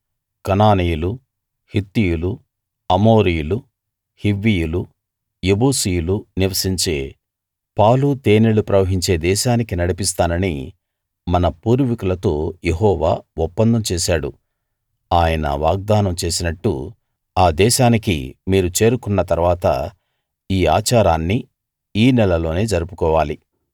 కనానీయులు హిత్తీయులు అమోరీయులు హివ్వీయులు యెబూసీయులు నివసించే పాలు తేనెలు ప్రవహించే దేశానికి నడిపిస్తానని మన పూర్వీకులతో యెహోవా ఒప్పందం చేశాడు ఆయన వాగ్దానం చేసినట్టు ఆ దేశానికి మీరు చేరుకున్న తరువాత ఈ ఆచారాన్ని ఈ నెలలోనే జరుపుకోవాలి